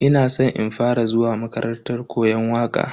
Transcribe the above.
Ina san in fara zuwa makarantar koyon waka.